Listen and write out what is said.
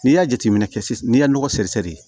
N'i y'a jateminɛ kɛ sisan n'i ye nɔgɔ seri sɛri